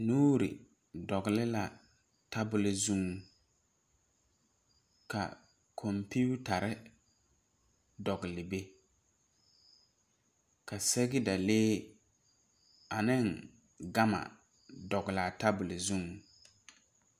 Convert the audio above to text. Nuuri dogle la tabole zuŋ ka kompeetare dogle be ka sɛgedalee ane gama dogle a tabole zuŋ.